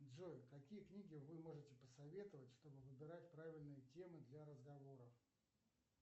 джой какие книги вы можете посоветовать чтобы выбирать правильные темы для разговоров